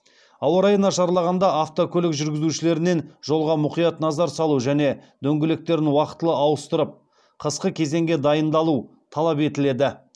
ауа райы нашарлағанда автокөлік жүргізушілерінен жолға мұқият назар салу және дөңгелектерін уақытылы ауыстырып қысқы кезеңге дайындалу талап етіледі